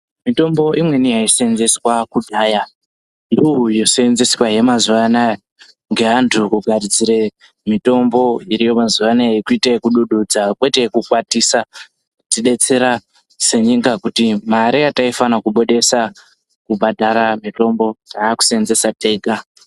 Mitombo imweni yaishandiswe kudhaya ndiyo yosenzeswahe mazuwa anaya ngeantu kugadzire mitombo iriyo mazuano yekuite yekudududza kwete yekukwatisa, kutidetsera senyika kuti mare yataifane kubudisa kubhadhare mitombo taakuseenzesa tega.